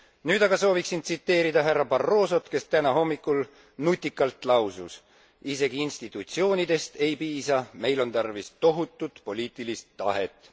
Nüüd aga sooviksin tsiteerida härra Barrosot, kes täna hommikul nutikalt lausus Isegi institutsioonidest ei piisa, meil on tarvis tohutut poliitilist tahet.